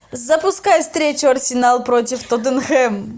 запускай встречу арсенал против тоттенхэм